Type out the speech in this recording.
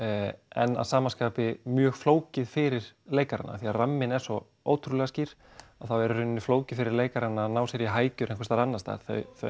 en að sama skapi mjög flókið fyrir leikarana af því að ramminn er svo ótrúlega skýr að þá er í rauninni flókið fyrir leikarana að ná sér í hækjur einhvers staðar annars staðar